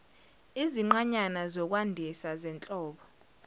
izinqanyana zokwandisa zenhlobo